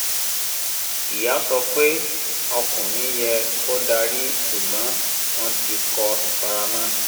ìyá sọ pé ọkùnrin yẹ kó darí ṣùgbọ́n wọn ti kọ́ ìfaramọ́